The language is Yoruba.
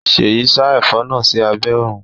Seyi sa ẹfọ náà sí abé òrùn.